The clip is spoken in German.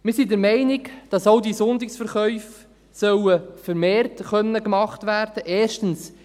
Wir sind der Meinung, dass auch die Sonntagsverkäufe vermehrt möglich gemacht werden sollen.